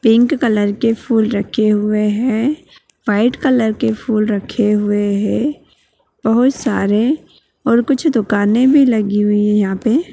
Pink colour के फूल रखे हुए हैं | व्हाइट कलर के फूल रखे हुए हैं बहुत सारे और कुछ दुकानें भी लगी हुई है यहाँ पे ।